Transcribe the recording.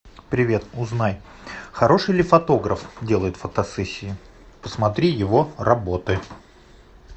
привет узнай хороший ли фотограф делает фотосессии посмотри его работы